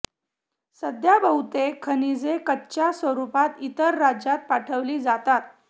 सध्या बहुतेक खनिजे कच्च्या स्वरूपात इतर राज्यात पाठविली जातात